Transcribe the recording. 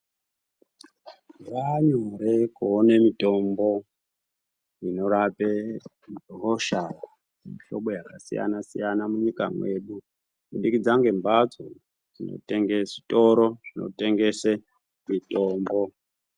Zvaanyore kuone mitombo inorape hosha dzemihlobo yakasiyana-siyana munyika mwedu kubudikidza ngembatso dzinotenge, zvitoro zvinotengese mitombo.